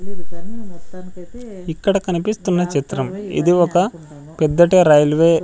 ఇక్కడ కనిపిస్తున్న చిత్రం ఇది ఒక పెద్దటే రైల్వే .